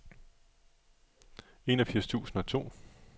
enogfirs tusind og to